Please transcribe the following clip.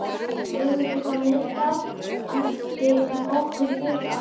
Guðmundur frá Miðdal ætti nokkurn hlut að.